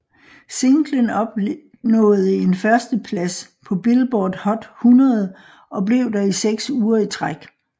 Singlen opnåede en førsteplads på Billboard Hot 100 og blev der i seks uger i træk